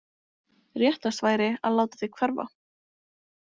Réttast væri að láta þig hverfa.